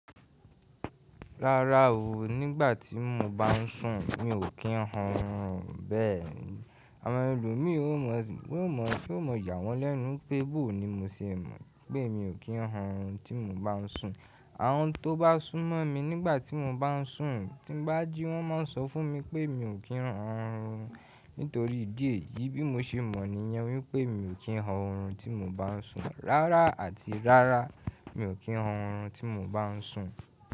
Rárá o, nígbà tí mo bá ń sùn mi ò kí ń hun ọ̀rùn, bẹ́ẹ̀ni àwọn ẹlòmí yóò mọ̀ yà wọ́n lẹ́nu pé, bọ̀ ní mo ṣe mọ̀ pé mi ò kí ń hun ọ̀rùn tí mo bá ń sùn. Àwon tó bá sún mọ́ mi nígbà tí mo bá ń sùn tí bá jí wọ́n máa ń sọ fún mi pé mi ò kí ń hun ọ̀rùn. Nítorí ìdí èyí bí mo ṣe mọ̀ nìyẹn wípé mi ò kí ń hun ọ̀rùn tí mo bá ń sùn. Rárá àti rárá mi ò kí ń hun ọ̀rùn tí mo bá ń sùn.